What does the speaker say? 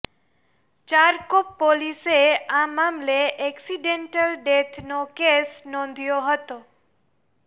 ચારકોપ પોલીસે આ મામલે એક્સિડેન્ટલ ડેથનો કેસ નોંધ્યો હતો